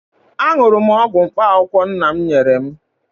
Aṅụrụ m ọgwụ mkpaakwụkwọ nna m nyere m